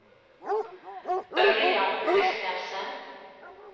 Ørjan Christensen